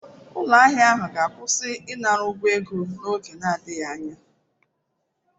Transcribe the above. Ụlọ ahịa ahụ ga-akwụsị ịnara ụgwọ ego n'oge adịghị anya.